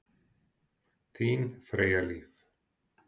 Þín Freyja Líf.